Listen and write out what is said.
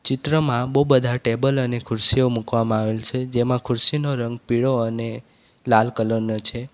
ચિત્રમાં બહુ બધા ટેબલ અને ખુરશીઓ મુકવામાં આવેલ છે જેમાં ખુરશીનો રંગ પીળો અને લાલ કલર નો છે.